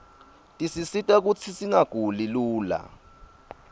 tisisita kutsi singaguli lula